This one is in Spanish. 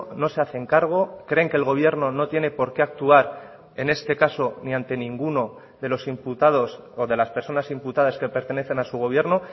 no se hacen cargo creen que el gobierno no tiene por qué actuar en este caso ni ante ninguno de los imputados o de las personas imputadas que pertenecen a su gobierno